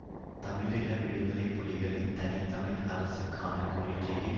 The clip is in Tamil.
தமிழீழ விடுதலை புலிகளின் தனி தமிழ் அரசுக்கான கோரிக்கையை